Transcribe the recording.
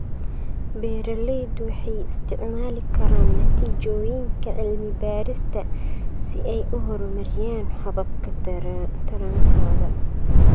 Beeralaydu waxay isticmaali karaan natiijooyinka cilmi-baarista cilmi-baarista si ay u horumariyaan hababka tarankooda.